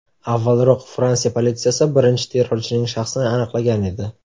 Avvalroq Fransiya politsiyasi birinchi terrorchining shaxsini aniqlagan edi.